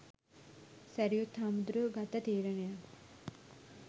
සැරියුත් හාමුදුරුවො ගත්ත තීරණයක්